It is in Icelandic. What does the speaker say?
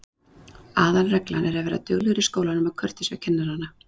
Aðalreglan er að vera duglegur í skólanum og kurteis við kennarana.